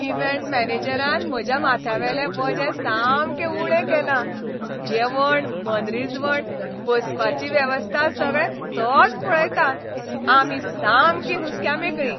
Event मॅनेजरान म्हज्या माथ्यावेले वजें सामकें उणें केलां, जेवण, मनरिजवण, बसपाची वेवस्था सगळें तोंच पळयता. आमी सामकीं हुस्क्यामेकळीं.